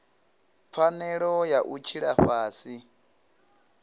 pfanelo ya u tshila fhasi